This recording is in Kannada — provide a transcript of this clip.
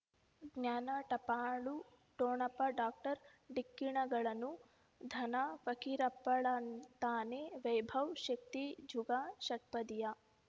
ಜ್ಞಾನ ಟಪಾಲು ಠೊಣಪ ಡಾಕ್ಟರ್ ಢಿಕ್ಕಿ ಣಗಳನು ಧನ ಪಕೀರಪ್ಪ ಳಂತಾನೆ ವೈಭವ್ ಶಕ್ತಿ ಜುಗಾ ಷಟ್ಪದಿಯ